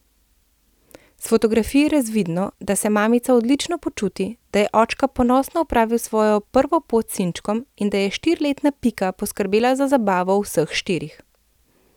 S fotografij je razvidno, da se mamica odlično počuti, da je očka ponosno opravil svojo prvo pot s sinčkom in da je štiriletna Pika poskrbela za zabavo vseh štirih.